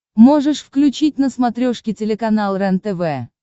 можешь включить на смотрешке телеканал рентв